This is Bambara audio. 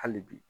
Hali bi